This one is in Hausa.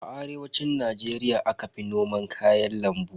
A arewacin Najeriya aka fi noman kayan lambu.